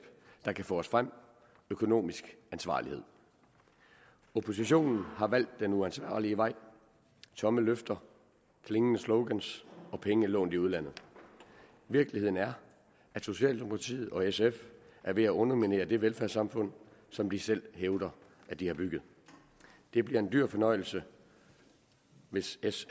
der kan få os frem økonomisk ansvarlighed oppositionen har valgt den uansvarlige vej tomme løfter klingende slogans og penge lånt i udlandet virkeligheden er at socialdemokratiet og sf er ved at underminere det velfærdssamfund som de selv hævder at de har bygget det bliver en dyr fornøjelse hvis s